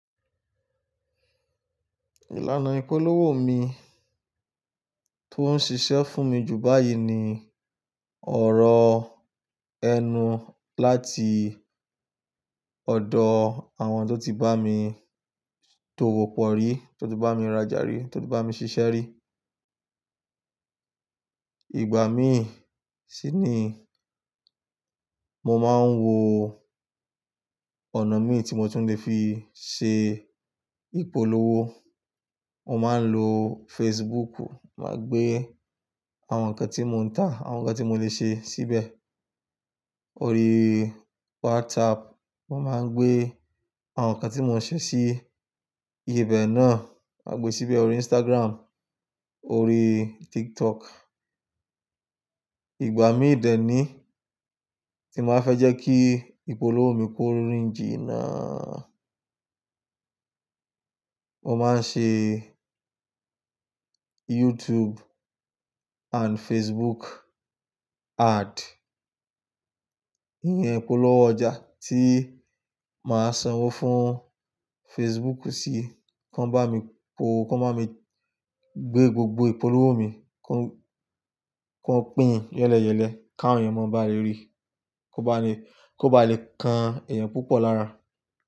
Ìlànà ìpolówó mi tó ń ṣiṣẹ́ fún mi jù báyìí ni ọ̀rọ̀ ẹnu láti ọ̀dọ̀ àwọn tó ti bá mi tòwò pọ̀ rí, tó ti bá mi rajà rí, tó ti bá mi ṣiṣẹ́ rí. Ìgbà mí sì ni mo máa ń wo ọ̀nà mi tí mo tún lè fi ṣe ìpolówó. Mo máa ń lo Facebook, mà gbé àwọn nǹkan tí mò ń tà, àwọn nǹkan tí mò lè ṣe síbẹ̀. Orí WhatsApp, mo máa ń gbé àwọn nǹkan tí mò ń ṣe sí ibẹ̀ náà, mà gbe síbẹ̀ orí Instagram, orí TikTok. Ìgbà mí ìdẹ́ ni tí màá fẹ́ jẹ́ kí ìpolówó mi ko rin jìnnà. Mo máa ń ṣe YouTube and Facebook ad. Iyẹn ìpolówó ọjà tí màá sanwó fún Facebook sí, kí wọ́n bá mi po, kí wọ́n bá mi gbé gbogbo ìpolówó mi, kí wọ́n pín yẹ́lẹyẹ̀lẹ, káwọn èèyàn mó bá lè rí, kó ba lè, kó bá lè kan èèyàn púpọ̀ lára.